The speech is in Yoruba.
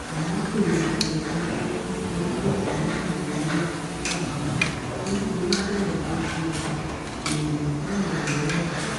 àmọ́ kò ríbi pé fúnkẹ́ nítorí kò sí ní nàìjíríà nígbà náà nítorí bẹ́ẹ̀ ló ṣe béèrè fún ìrànlọ́wọ́ mi